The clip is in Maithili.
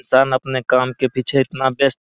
इंसान अपने काम के पीछे इतना वयस्त --